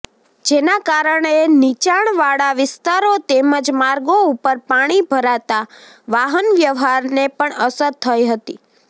જેના કારણે નીચાણવાળા વિસ્તારો તેમજ માર્ગો ઉપર પાણી ભરાતાં વાહનવ્યવહારને પણ અસર થઈ હતી